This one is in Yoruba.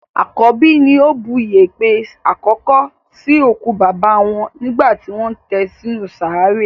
Àkọ́bí ni ó bu yèèpẹ̀ àkọ́kọ́ sí òkú bàbá wọn nígbà tí wọ́n tẹ sí inú sàárè.